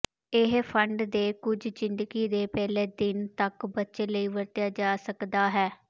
ਇਹ ਫੰਡ ਦੇ ਕੁਝ ਜ਼ਿੰਦਗੀ ਦੇ ਪਹਿਲੇ ਦਿਨ ਤੱਕ ਬੱਚੇ ਲਈ ਵਰਤਿਆ ਜਾ ਸਕਦਾ ਹੈ